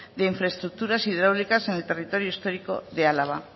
de infraestructuras hidráulicas en el territorio histórico de álava